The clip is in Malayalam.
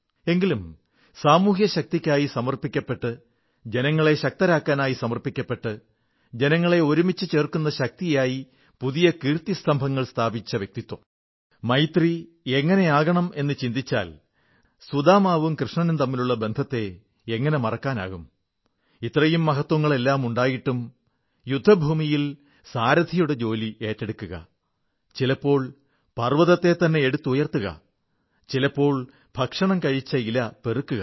എങ്കിലും സാമൂഹ്യശക്തിക്കായി സമർപ്പിക്കപ്പെട്ട് ജനങ്ങളെ ശക്തരാക്കാനായി സമർപ്പിക്കപ്പെട്ട് ജനങ്ങളെ ഒരുമിച്ചുചേർക്കുന്ന ശക്തിയായി പുതിയ കീർത്തിസ്തംഭങ്ങൾ സ്ഥാപിച്ച വ്യക്തിത്വം മൈത്രി എങ്ങനെയാകണം എന്നു ചിന്തിച്ചാൽ സുദാമാവും കൃഷ്ണനും തമ്മിലുള്ള ബന്ധത്തെ എങ്ങനെ മറക്കാനാകും ഇത്രയും മഹത്വങ്ങളെല്ലാമുണ്ടായിട്ടും യുദ്ധഭൂമിയിൽ സാരഥിയുടെ ജോലി ഏറ്റെടുക്കുക ചിലപ്പോൾ പർവ്വതത്തെത്തന്നെ എടുത്തുയർത്തുക ചിലപ്പോൾ ഭക്ഷണം കഴിച്ച ഇല പെറുക്കുക